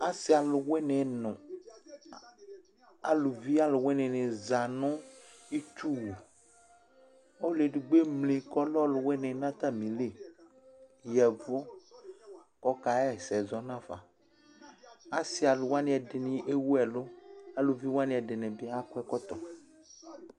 Asi aluwini nʋ aluvi aluwini ni za nʋ itsu wʋ Ɔlʋ edigbo emli kʋ ɔlɛ ɔlʋwini nʋ atamili, ya ɛvʋ kʋ ɔkaɣɛsɛ zɔ nafa Asi aluwani ɛdɩnɩ ewu ɛlʋ, aluvi wani ɛdɩnɩ akɔ ɛkɔtɔ